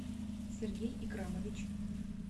сергей икрамович